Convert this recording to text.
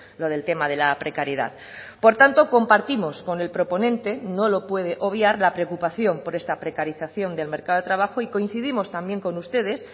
lo del tema de la precariedad por tanto compartimos con el proponente no lo puede obviar la preocupación por esta precarización del mercado de trabajo y coincidimos también con ustedes